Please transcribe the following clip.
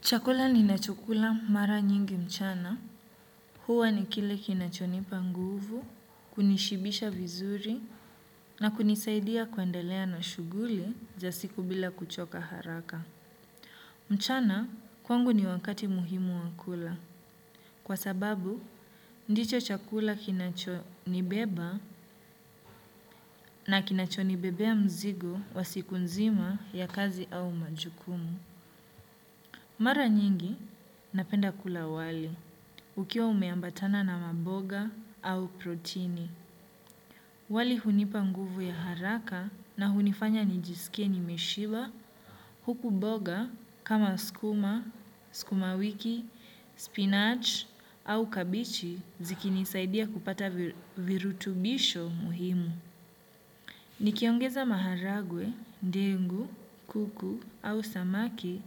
Chakula ninachokula mara nyingi mchana, huwa ni kile kinachonipa nguvu, kunishibisha vizuri, na kunisaidia kuendelea na shuguli za siku bila kuchoka haraka. Mchana, kwangu ni wakati muhimu wa kula, kwa sababu, ndicho chakula kinachonibeba na kinachonibebea mzigo wa siku nzima ya kazi au majukumu. Mara nyingi napenda kula wali, ukiwa umeambatana na maboga au protini. Wali hunipa nguvu ya haraka na hunifanya nijisike nimeshiba huku boga kama skuma, skuma wiki, spinach au kabichi zikinisaidia kupata virutubisho muhimu. Nikiongeza maharagwe, dengu, kuku au samaki